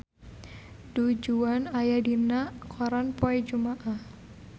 Du Juan aya dina koran poe Jumaah